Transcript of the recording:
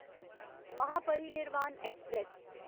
Mahaparinirvan express